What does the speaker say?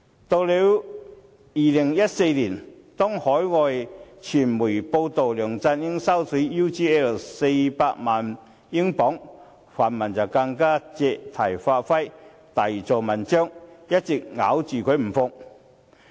到了2014年，當海外傳媒報道梁振英收取 UGL 400萬英鎊時，泛民更加借題發揮，大做文章，一直咬着他不放。